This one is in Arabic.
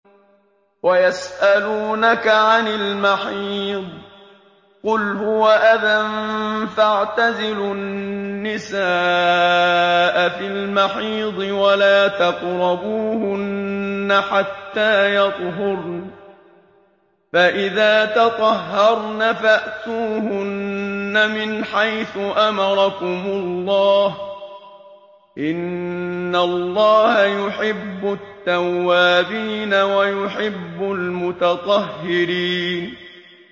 وَيَسْأَلُونَكَ عَنِ الْمَحِيضِ ۖ قُلْ هُوَ أَذًى فَاعْتَزِلُوا النِّسَاءَ فِي الْمَحِيضِ ۖ وَلَا تَقْرَبُوهُنَّ حَتَّىٰ يَطْهُرْنَ ۖ فَإِذَا تَطَهَّرْنَ فَأْتُوهُنَّ مِنْ حَيْثُ أَمَرَكُمُ اللَّهُ ۚ إِنَّ اللَّهَ يُحِبُّ التَّوَّابِينَ وَيُحِبُّ الْمُتَطَهِّرِينَ